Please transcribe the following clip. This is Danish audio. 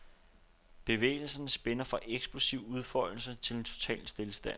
Bevægelserne spænder fra eksplosiv udfoldelse til total stilstand.